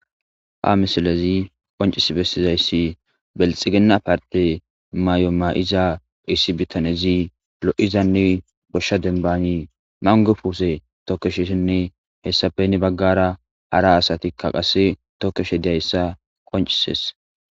Ha misilezi qonccisi bessizayssi bilxxiginna partte mayo ma7iza issi bittanezi lo7izanne goshsha dembani manggo puuse tokkeshisinne hessapp heni baggaara hara asatikka qasse tokkishe diyayssa qoncisees.